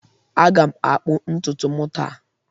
Aga m akpụ ntutu m taa